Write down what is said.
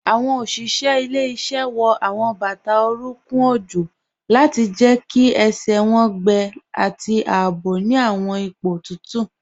Awọn oṣiṣẹ ilẹ̀-iṣẹ wọ awọn bata oruńkùn ojó lati jẹ́ kí ẹṣẹ wọn gbẹ̀ ati àabò ni awọn ipo tutu